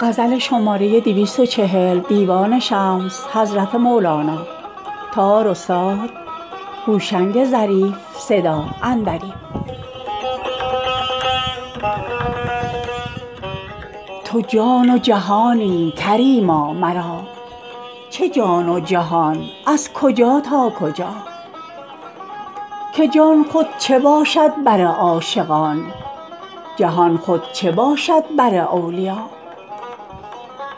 تو جان و جهانی کریما مرا چه جان و جهان از کجا تا کجا که جان خود چه باشد بر عاشقان جهان خود چه باشد بر اولیا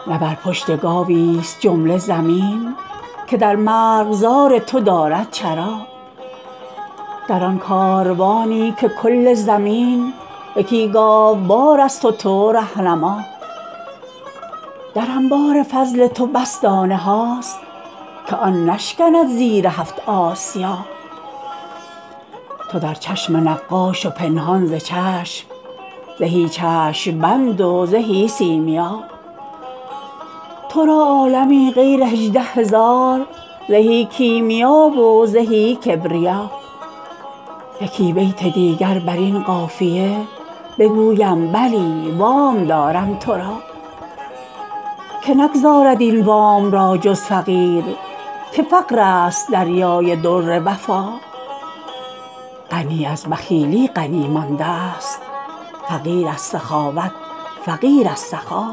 نه بر پشت گاویست جمله زمین که در مرغزار تو دارد چرا در آن کاروانی که کل زمین یکی گاوبارست و تو ره نما در انبار فضل تو بس دانه هاست که آن نشکند زیر هفت آسیا تو در چشم نقاش و پنهان ز چشم زهی چشم بند و زهی سیمیا تو را عالمی غیر هجده هزار زهی کیمیا و زهی کبریا یکی بیت دیگر بر این قافیه بگویم بلی وام دارم تو را که نگزارد این وام را جز فقیر که فقرست دریای در وفا غنی از بخیلی غنی مانده ست فقیر از سخاوت فقیر از سخا